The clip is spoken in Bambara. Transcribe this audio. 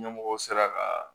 Ɲɛmɔgɔw sera ka